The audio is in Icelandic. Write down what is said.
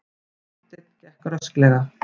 Marteinn gekk rösklega.